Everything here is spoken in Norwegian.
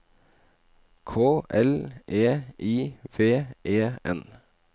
K L E I V E N